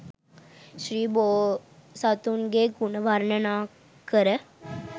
ශ්‍රී බෝසතුන්ගේ ගුණ වර්ණනාකර